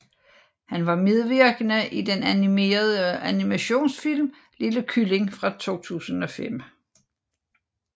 Han var medvirkende i den animerede animationsfilm Lille kylling fra 2005